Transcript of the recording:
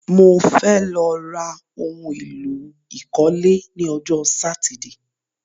Mo fẹ́ lọ ra oun èlò ìkọ́lé ni ọjọ́ Sátidé